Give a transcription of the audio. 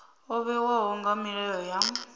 o vhewaho nga milayo ya